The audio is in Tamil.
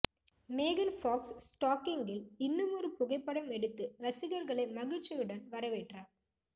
மேகன் ஃபாக்ஸ் ஸ்டாக்கிங்கில் இன்னுமொரு புகைப்படம் எடுத்து ரசிகர்களை மகிழ்ச்சியுடன் வரவேற்றார்